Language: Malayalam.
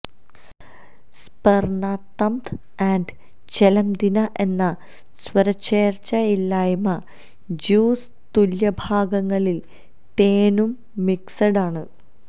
സുപെര്നതംത് ആൻഡ് ചെലംദിനെ എന്ന സ്വരചേർച്ചയില്ലായ്മ ജ്യൂസ് തുല്യ ഭാഗങ്ങളിൽ തേനും മിക്സഡ് ആണ്